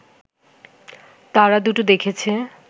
তারাদুটো দেখেছে